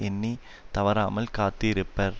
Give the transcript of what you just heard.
எண்ணி தவறாமல் காத்து இருப்பர்